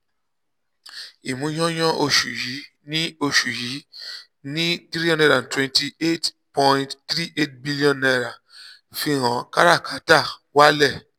ìmúyányán oṣù yìí ní oṣù yìí ní n323.38 billion fihàn kárà-kátà walẹ.